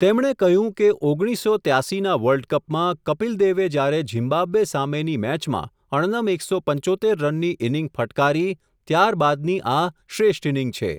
તેમણે કહ્યું કે, ઓગણીસસો ત્યાંશી ના વર્લ્ડ કપમાં, કપિલ દેવે જ્યારે ઝિમ્બાબ્વે સામેની મેચમાં, અણનમ એક સો પંચોતેર રનની ઇનિંગ ફટકારી, ત્યાર બાદની આ શ્રેષ્ઠ ઇનિંગ છે.